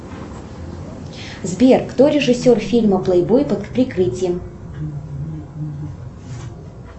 сбер кто режиссер фильма плейбой под прикрытием